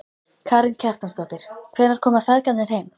Karen Kjartansdóttir: Hvenær koma feðgarnir heim?